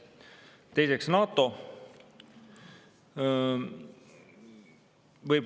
Teiseks, NATO.